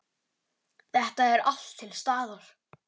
Þetta er allt til staðar!